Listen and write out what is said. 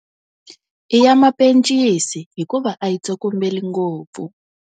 I ya mapencisi hikuva a yi tsokombeli ngopfu.